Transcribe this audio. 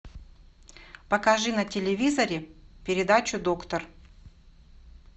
покажи на телевизоре передачу доктор